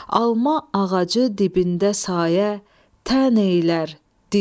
Alma ağacı dibində sayə tən eylər,